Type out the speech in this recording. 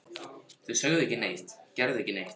Þau sögðu ekki neitt, gerðu ekki neitt.